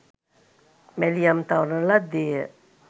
මැලියම් තවරන ලද්දේ ය